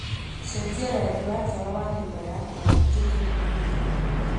cenjia rangi wa tawa wa nyũmba yakwa utuike Mbirũirũ